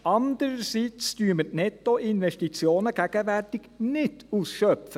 Andererseits schöpfen wir gegenwärtig die Nettoinvestitionen nicht aus.